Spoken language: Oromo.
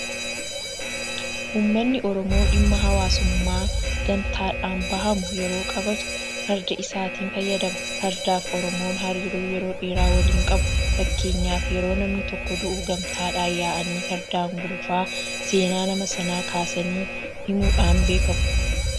Uummanni Oromoo dhimma hawaasummaa gamtaadhaan bahamu yeroo qabaatu Farda isaatti fayyadama. Fardaafi Oromoon hariiroo yeroo dheeraa waliin qabu. Fakkeenyaaf yeroo namni tokko du'u gamtaadhaan yaa'anii fardaan gulufaa seenaa nama sanaa kaasanii himuudhaan beekamu.